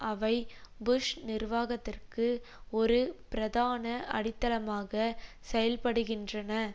அவை புஷ் நிர்வாகத்திற்கு ஒரு பிரதான அடித்தளமாக செயல்படுகின்றன